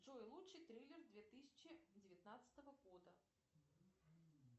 джой лучший триллер две тысячи девятнадцатого года